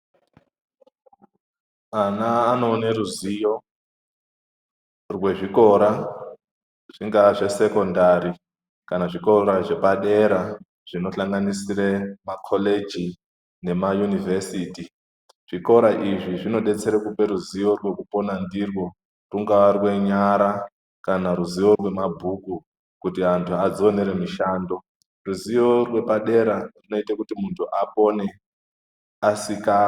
Ana anoone ruzivo rwezvikora zvinonga zvesekondari kana zvikora zvepadera zvinosanganisira makoreji nemayunivhesiti zvikora izvi zvinodetsera kupe ruzivo rwekupona ndirwo rwungaa rwenyara kana ruzivo rwemabhuku kuti antu adzionere mishando ruzivo rwepadera runoite kuti muntu apone asika.